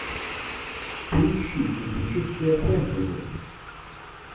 поищи эпическое фэнтези